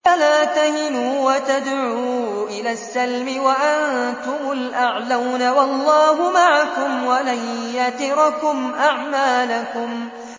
فَلَا تَهِنُوا وَتَدْعُوا إِلَى السَّلْمِ وَأَنتُمُ الْأَعْلَوْنَ وَاللَّهُ مَعَكُمْ وَلَن يَتِرَكُمْ أَعْمَالَكُمْ